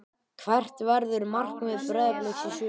Hvert verður markmið Breiðabliks í sumar?